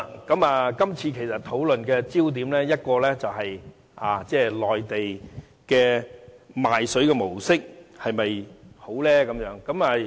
今次討論的焦點，其一是內地賣水的模式是否很好？